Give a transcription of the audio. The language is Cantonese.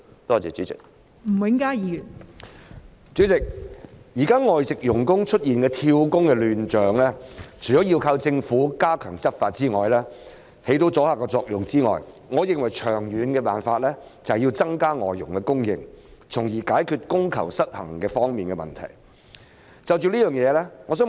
代理主席，對於現時外籍傭工出現"跳工"的亂象，我認為除了靠政府加強執法以起阻嚇作用外，長遠的辦法是增加外傭的供應，從而解決供求失衡的問題。